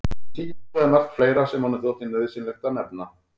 Hann tíundaði margt fleira sem honum þótti nauðsynlegt að nefna.